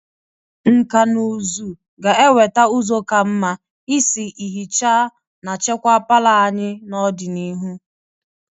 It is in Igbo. Nkà na ụzụ ga-eweta ụzọ ka mma isi ihicha na chekwaa palọ anyị n'ọdịnihu.